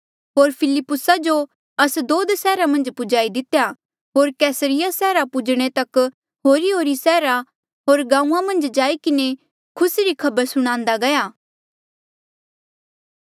होर फिलिप्पुसा जो अस्दोद सैहरा मन्झ पुजाई दितेया होर कैसरिया सैहरा पुजणे तक होरीहोरी सैहरा होर गांऊँआं मन्झ जाई किन्हें खुसी री खबर सुणान्दा गया